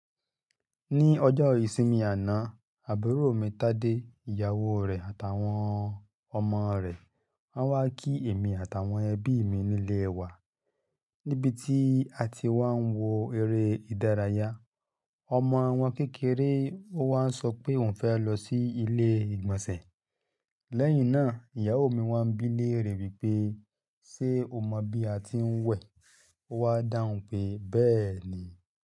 Ní ọjọ́ ìsinmi àná, àbúrò mi Tade, ìyàwó rẹ̀ àtàwọn ọmọ rẹ̀ wá kí èmi àtàwọn ẹbí mi nílé wa, níbi tí a ti wà ń wo eré ìdárayá. Ọmọ wọn kékeré ó wá sọ pé òun fẹ́ lọ sí ilé ìgbọ̀nsẹ̀. Lẹ́yìn náà ìyàwó mi wá bí léèrè wípé ṣe o mọ bí a ti ń wẹ̀? Ó wá dáhùn pé, bẹ́ẹ̀ ni.